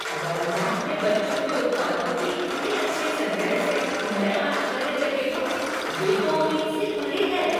Walmart में बच्चों के उत्पादों के इतने अच्छा संग्रह से मैं आश्चर्यचकित हूँ, ये तो उम्मीद से परे हैं।